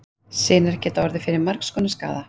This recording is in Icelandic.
Sinar geta orðið fyrir margs konar skaða.